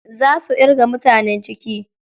Za su irga mutanen ciki.